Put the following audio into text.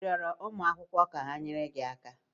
ị rịọrọ onye ụmụ akwụkwọ ka ha nyere gị aka?